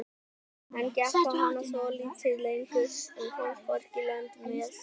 Hann gekk á hana svolítið lengur en komst hvorki lönd né strönd.